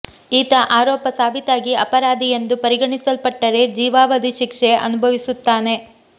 ಈತ ಆರೋಪ ಸಾಬೀತಾಗಿ ಅಪರಾಧಿ ಎಂದು ಪರಿಗಣಿಸಲ್ಪಟ್ಟರೆ ಜೀವಾವಧಿ ಶಿಕ್ಷೆ ಅನುಭವಿಸುತ್ತಾನೆ